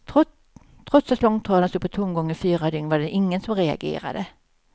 Trots att långtradaren stod på tomgång i fyra dygn var det ingen som reagerade.